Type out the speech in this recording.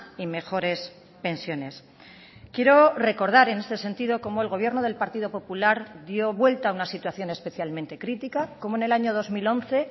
y mejores pensiones quiero recordar en este sentido cómo el gobierno del partido popular dio vuelta a una situación especialmente crítica cómo en el año dos mil once